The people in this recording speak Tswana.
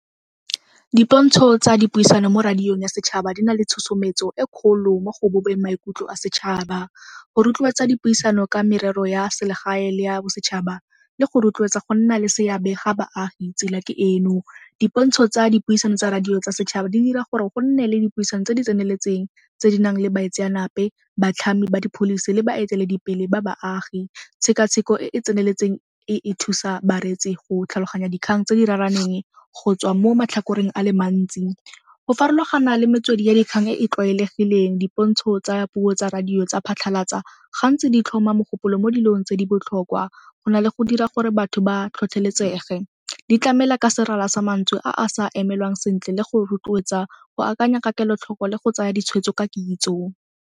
Dipontsho tsa dipuisano mo radiong ya setšhaba di na le tshosometso e kgolo mo go bopeng maikutlo a setšhaba. Go rotloetsa dipuisano ka merero ya selegae le ya bosetšhaba le go rotloetsa go nna le seabe ga baagi tsela ke eno. Dipontsho tsa dipuisano tsa radio tsa setšhaba di dira gore go nne le dipuisano tse di tseneletseng tse di nang le baitsanape, batlhami ba di-policy le baeteledipele ba baagi. Tshekatsheko e e tseneletseng e e thusa bareetsi go tlhaloganya dikgang tse di raraneng go tswa mo matlhakoreng a le mantsi. Go farologana le metswedi ya dikgang e e tlwaelegileng, dipontsho tsa puo tsa radio tsa phatlhalatsa gantsi di tlhoma mogopolo mo dilong tse di botlhokwa go na le go dira gore batho ba tlhotlheletsege. Di tlamela ka serala sa mantswe a sa emelwang sentle le go rotloetsa go akanya ka kelotlhoko le go tsaya ditshwetso ka kitso.